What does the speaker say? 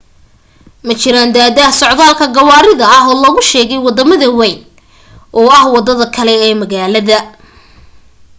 ma jirin daahdaah socdaalka gawaarida ah oo lagu sheegay wadada wayn oo ah wadada kale oo magaalada